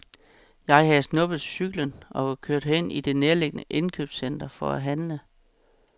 Jeg havde snuppet cyklen og var kørt hen i det nærliggende indkøbscenter for at handle.